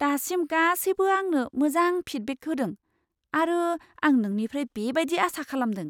दासिम गासैबो आंनो मोजां फिडबेक होदों आरो आं नोंनिफ्रायबो बेबायदि आसा खालामदों।